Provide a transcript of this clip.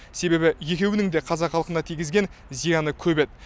себебі екеуінің де қазақ халқына тигізген зияны көп еді